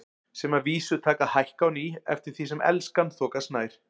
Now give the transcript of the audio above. Sem að vísu taka að hækka á ný eftir því sem Elskan þokast nær.